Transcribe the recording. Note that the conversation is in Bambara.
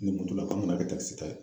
Ni mo tola k'an ka na kɛ takisi ta ye.